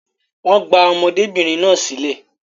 Wọ́n gba ọmọdébìnrin náà sílẹ̀